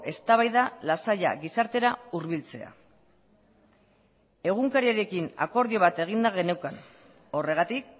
eztabaida lasaia gizartera hurbiltzea egunkariarekin akordio bat eginda geneukan horregatik